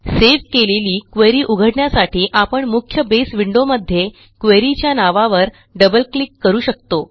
save केलेली query उघडण्यासाठी आपण मुख्य बेस विंडोमध्ये queryच्या नावावर डबल क्लिक करू शकतो